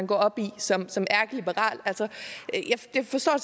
gå op i som som ærkeliberal jeg forstår